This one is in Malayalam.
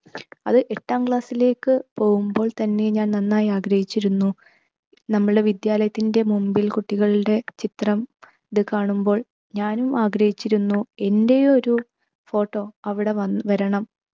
അത് എട്ടാം class ലേക്ക് പോകുമ്പോൾ തന്നെ ഞാൻ നന്നായി ആഗ്രഹിച്ചിരുന്നു. നമ്മളെ വിദ്യാലയത്തിൻ്റെ മുൻപിൽ കുട്ടികളുടെ ചിത്രം അത് കാണുമ്പോൾ ഞാനും ആഗ്രഹിച്ചിരുന്നു എൻ്റെയും ഒരു photo അവിടെ വൻ വരണം